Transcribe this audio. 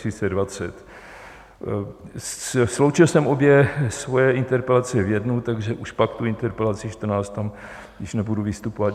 Sloučil jsem obě svoje interpelace v jednu, takže už pak tu interpelaci 14 - tam již nebudu vystupovat.